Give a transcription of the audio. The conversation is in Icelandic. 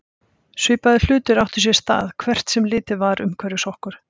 Svipaðir hlutir áttu sér stað hvert sem litið var umhverfis okkur.